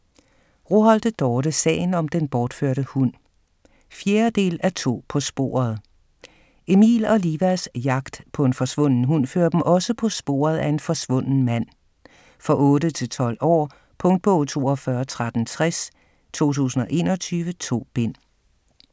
Roholte, Dorte: Sagen om den bortførte hund 4. del af To på sporet. Emil og Livas jagt på en forsvunden hund fører dem også på sporet af en forsvunden mand. For 8-12 år. Punktbog 421360 2021. 2 bind.